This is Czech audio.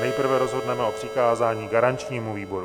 Nejprve rozhodneme o přikázání garančnímu výboru.